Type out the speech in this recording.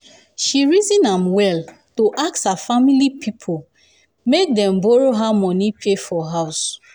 she reason am well to ask her family pipo pipo make dem borrow her money pay for house.